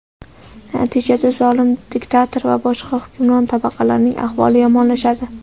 natijada zolim diktator va boshqa hukmron tabaqalarning ahvoli yomonlashadi.